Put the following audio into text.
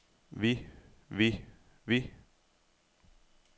vi vi vi